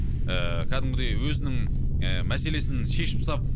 ііі кәдімгідей өзінің і мәселесін шешіп сап